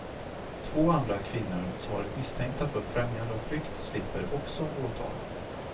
Två andra kvinnor som varit misstänkta för främjande av flykt slipper också åtal.